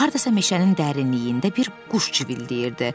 Hardasa meşənin dərinliyində bir quş civildəyirdi.